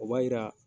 O b'a yira